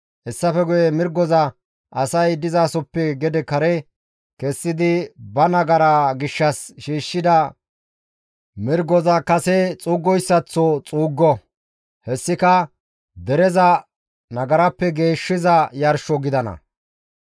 Hessafe guye mirgoza asay dizasoppe gede kare kessidi ba nagaraa gishshas shiishshida mirgoza kase xuuggoyssaththo xuuggo; hessika dereza nagarappe geeshshiza yarsho gidana.